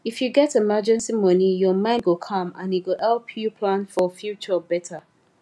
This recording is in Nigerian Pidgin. if you get emergency money your mind go calm and e go help you plan for future better